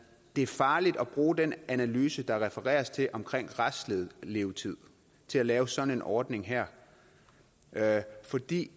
er farligt at bruge den analyse der refereres til om restlevetid til at lave sådan en ordning her her fordi